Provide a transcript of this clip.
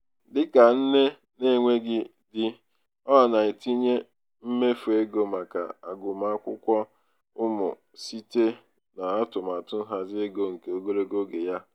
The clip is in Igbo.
dịka nne na-enweghi di ọ na-etinye mmefu ego maka agụmakwụkwọ ụmụ n'isi n'atụmatụ nhazi ego nke ogologo oge ya.